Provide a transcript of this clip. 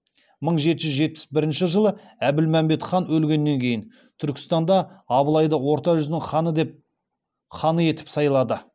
мың жеті жүз жетпіс бірінші жылы әбілмәмбет хан өлгеннен кейін түркістанда абылайды орта жүздің ханы етіп сайлады